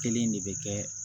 Kelen de bɛ kɛ